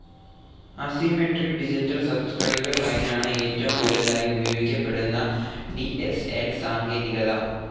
Asymmetric digital subscriber ലൈനാണ് ഏറ്റവും കൂടുതലായി ഉപയോഗിക്കപ്പെടുന്ന ഡി സ്‌ ൽ സാങ്കേതികത.